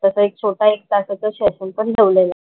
तसा एक छोटा एक तासाचा सेशन पण ठेवलेला.